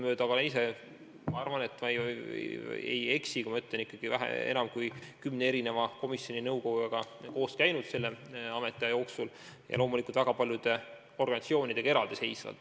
Ma arvan, et ma ei eksi, kui ütlen, et olen oma ametiaja jooksul enam kui kümne erineva komisjoni või nõukojaga kohtunud ja loomulikult ka väga paljude organisatsioonide esindajatega.